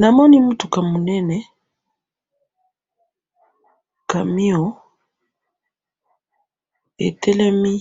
namoni mutuka munene camion etelemi